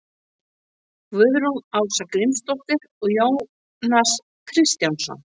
guðrún ása grímsdóttir og jónas kristjánsson